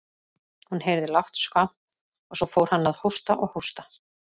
Hún heyrði lágt skvamp og svo fór hann að hósta og hósta.